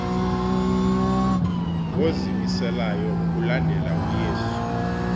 ngozimiseleyo ukulandela uyesu